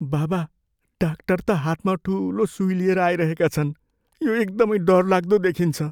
बाबा डाक्टर त हातमा ठुलो सुई लिएर आइरहेका छन्। यो एकदमै डरलाग्दो देखिन्छ।